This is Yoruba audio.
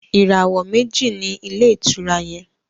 ìràwọ meji ní Ilé-ìtura yén.